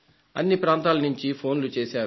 అన్ని ప్రాంతాల నుంచి ఫోన్లు చేశారు